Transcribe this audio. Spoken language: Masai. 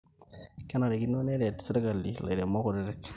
kenarikino neret sirkali ilairemok kutiti